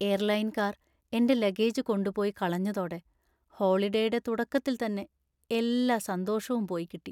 എയർലൈൻകാർ എൻ്റെ ലഗേജ് കൊണ്ടുപോയി കളഞ്ഞതോടെ ഹോളിഡേയുടെ തുടക്കത്തിൽ തന്നെ എല്ലാ സന്തോഷവും പോയിക്കിട്ടി.